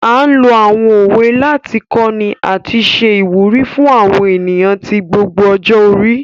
A n lo àwọn òwe láti kọni àti ṣe ìwúrí fún àwọn ènìyàn ti gbogbo ọjọ́-orí.